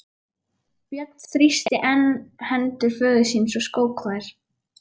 Björn þrýsti enn hendur föður síns og skók þær.